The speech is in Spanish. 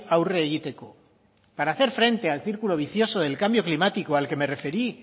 aurre egiteko para hacer frente al círculo vicioso del cambio climático al que me referí